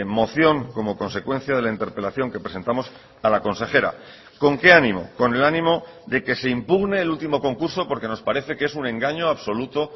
moción como consecuencia de la interpelación que presentamos a la consejera con qué ánimo con el ánimo de que se impugne el último concurso porque nos parece que es un engaño absoluto